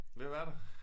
Ved at være der?